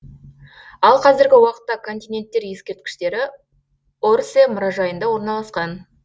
ал қазіргі уақытта континенттер ескерткіштері орсэ мұражайында орналасқан